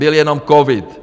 Byl jenom covid.